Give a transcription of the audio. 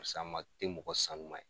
te mɔgɔ sanuman ye.